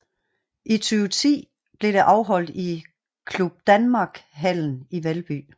I 2010 blev det afholdt i Club Danmark Hallen i Valby